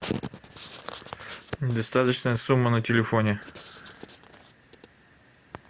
недостаточная сумма на телефоне